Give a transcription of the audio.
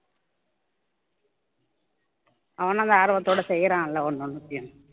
அவனும் அந்த ஆர்வத்தோட செய்றான்ல ஒன்னு ஒன்னுத்தியும்